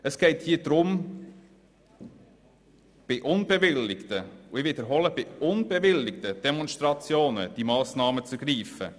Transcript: Es geht hier darum, solche Massnahmen bei unbewilligten Demonstrationen zu ergreifen.